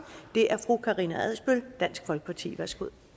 er fru karina adsbøl dansk folkeparti værsgo